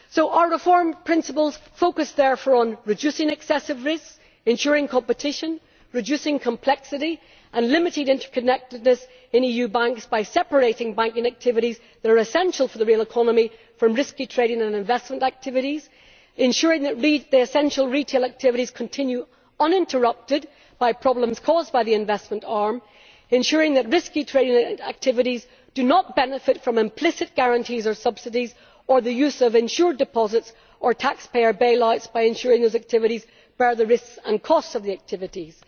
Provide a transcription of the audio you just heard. Our reform principles focus therefore on reducing excessive risk, ensuring competition, reducing complexity and limiting interconnectedness in EU banks by separating banking activities that are essential for the real economy from risky trading and investment activities, ensuring the essential retail activities continue uninterrupted by problems caused by the investment arm, ensuring that risky trading activities do not benefit from implicit guarantees or subsidies or the use of insured deposits or tax payer bailouts, by ensuring those activities bear the risk and costs of the activities.